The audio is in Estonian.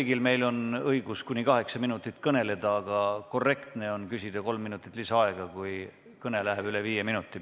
Meil kõigil on õigus kuni kaheksa minutit kõneleda, aga korrektne on küsida kolm minutit lisaaega, kui kõne läheb pikemaks kui viis minutit.